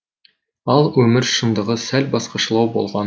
ал өмір шындығы сәл басқашалау болған